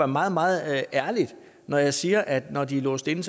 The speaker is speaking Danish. meget meget ærlig når jeg siger at når de er låst inde